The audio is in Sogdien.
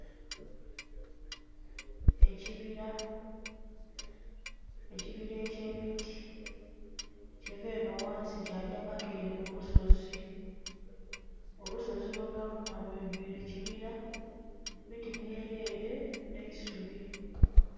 Ekibira, ekibira ekimiti kiva enho ghansi kyagya paka ere kulusozi, olusozi kwonha lwonha lwidwile kibira miti mweere nh'eisubi.